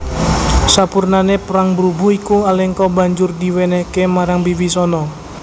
Sapurnané perang brubuh iku Alengka banjur diwènèhké marang Wibisana